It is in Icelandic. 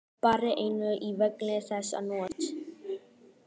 Barði enninu í vegginn þessa nótt.